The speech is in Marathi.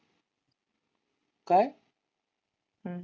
काय? हम्म